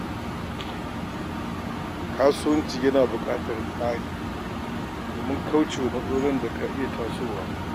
Kasuwanci yana buƙatar tsari domin kauce wa matsalolin da ka iya tasowa.